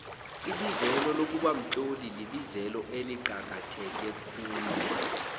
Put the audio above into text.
ibizelo lokubamtloli libizelo eliqakahteke khulu